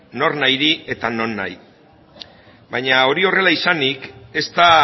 nornahiri eta nonahi baina hori horrela izanik ez da